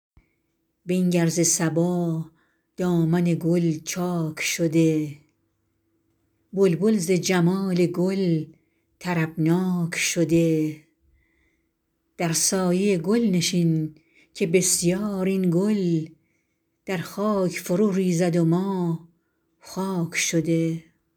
بنگر ز صبا دامن گل چاک شده بلبل ز جمال گل طربناک شده در سایه گل نشین که بسیار این گل در خاک فرو ریزد و ما خاک شده